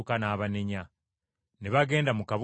Ne bagenda mu kabuga akalala.